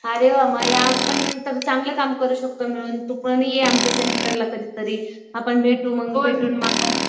अरे वा मग यात पण तर चांगलं काम करू शकतो मिळून. तू पण ये आमच्या सेंटरला कधीतरी. आपण भेटू मग